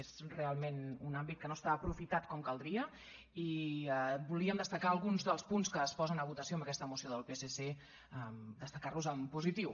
és realment un àmbit que no està aprofitat com caldria i volíem destacar alguns dels punts que es posen a votació amb aquesta moció del psc destacar los en positiu